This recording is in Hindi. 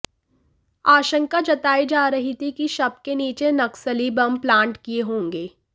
आशंका जताई जा रही थी कि शव के नीचे नक्सली बम प्लांट किए होंगे